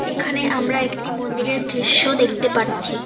এখানে আমরা একটি মন্দিরের দৃশ্য দেখতে পারছি।